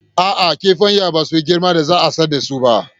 A'a, kifayen basu yi girman da za a sayar dasu ba